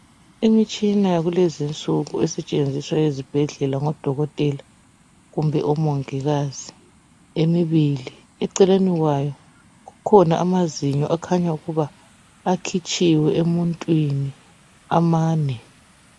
Imitshina yakulezinsuku esetshenziswa ezibhedlela ngodokotela kumbe omongikazi emibili eceleni kwayo kukhona amazinyo akhanya ukuba akhitshiwe emuntwini amane.